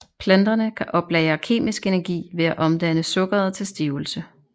Planterne kan oplagre kemisk energi ved at omdanne sukkeret til stivelse